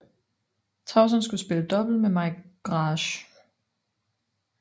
Tauson skulle spille double med Mai Grage